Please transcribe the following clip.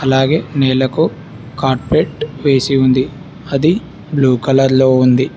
అలాగే నేలకు కాట్పేట్ వేసి ఉంది అది బ్లూ కలర్ లో ఉంది.